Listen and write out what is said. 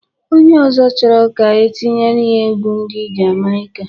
Onye ọzọ chọrọ ka etinyere ya egwu ndị Jamaika